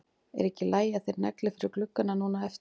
Er ekki í lagi að þeir negli fyrir gluggana núna á eftir?